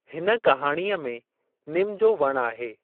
हिन कहाणीअ में निम जो वणु आहे।